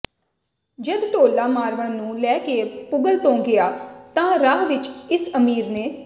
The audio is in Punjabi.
ਜਦ ਢੋਲਾ ਮਾਰਵਣ ਨੂੰ ਲੈ ਕੇ ਪੁਗਲ ਤੋਂ ਗਿਆ ਤਾਂ ਰਾਹ ਵਿੱਚ ਇਸ ਅਮੀਰ ਨੇ